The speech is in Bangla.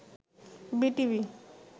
বিটিভি